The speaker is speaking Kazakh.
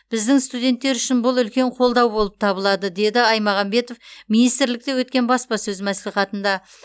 біздің студенттер үшін бұл үлкен қолдау болып табылады деді аймағамбетов министрлікте өткен баспасөз мәслихатында